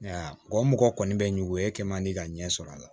Wa o mɔgɔ kɔni bɛ n ɲugun e kɛ man di ka ɲɛ sɔrɔ a la